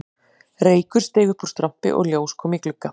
Reykur steig upp úr strompi og ljós kom í glugga